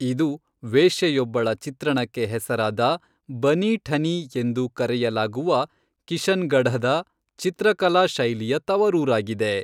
ಇದು ವೇಶ್ಯೆಯೊಬ್ಬಳ ಚಿತ್ರಣಕ್ಕೆ ಹೆಸರಾದ ಬನೀ ಠನೀ ಎಂದು ಕರೆಯಲಾಗುವ ಕಿಶನ್ಗಢದ ಚಿತ್ರಕಲಾ ಶೈಲಿಯ ತವರೂರಾಗಿದೆ.